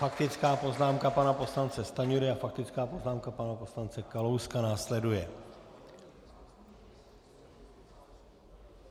Faktická poznámka pana poslance Stanjury a faktická poznámka pana poslance Kalouska následuje.